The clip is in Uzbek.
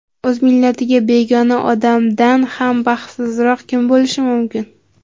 "…o‘z millatiga begona odamdan ham baxtsizroq kim bo‘lishi mumkin".